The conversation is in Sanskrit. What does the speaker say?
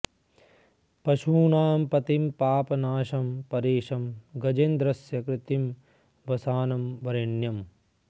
पशूनां पतिं पापनाशं परेशं गजेन्द्रस्य कृत्तिं वसानं वरेण्यम्